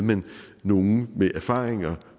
nogle med erfaringer